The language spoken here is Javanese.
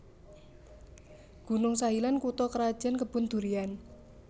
Gunung Sahilan kutha krajan Kebun Durian